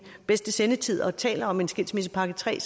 bedste sendetid og taler om en skilsmissepakke tre